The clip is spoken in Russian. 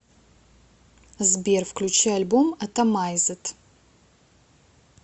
сбер включи альбом атомайзед